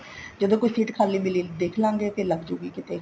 ਜਦੋਂ ਕੋਈ ਸੀਟ ਖਾਲੀ ਮਿਲੀ ਦੇਖ੍ਲਾਂਗੇ ਲੱਗਜੁਗੀ ਉੱਥੇ